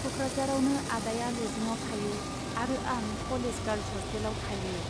क'कराझारावनो आदाया लजिंआव थायो आरो आं कलेज गार्लस हस्टेलाव थायो।